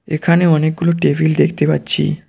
এখানে অনেকগুলো টেবিল দেখতে পাচ্ছি।